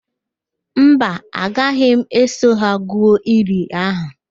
Mba, agaghi m eso ha gwu ili ahụ